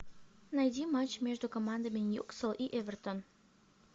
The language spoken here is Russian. найди матч между командами ньюкасл и эвертон